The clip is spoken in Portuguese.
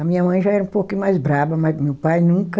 A minha mãe já era um pouquinho mais braba, mas meu pai nunca...